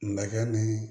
Nɛgɛ ni